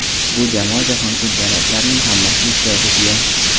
Bu jamoa Jahon Chempionatlarining hammasida ishtirok etgan.